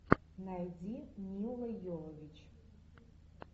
найди милла йовович